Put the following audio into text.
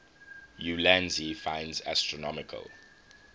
ulansey finds astronomical